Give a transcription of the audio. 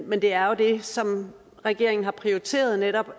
men det er jo det som regeringen har prioriteret netop